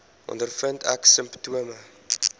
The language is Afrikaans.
ondervind ek simptome